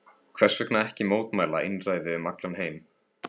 Hversvegna ekki mótmæla einræði um allan heim?